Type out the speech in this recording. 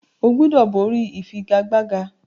O gbúdọ̀ borí ìfigagbága!